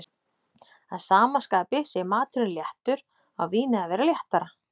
að sama skapi sé maturinn léttur, á vínið að vera léttara.